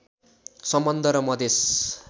सम्बन्ध र मधेश